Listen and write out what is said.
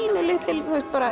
pínulítil